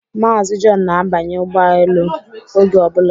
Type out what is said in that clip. Mazi Jọn na-abanya ụgbọelu oge obula